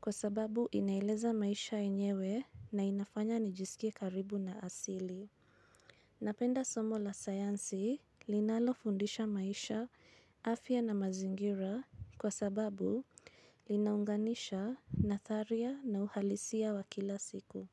kwa sababu inaeleza maisha yenyewe na inafanya nijisikie karibu na asili. Napenda somo la sayansi linalofundisha maisha afya na mazingira kwa sababu linaunganisha nadharia na uhalisia wa kila siku.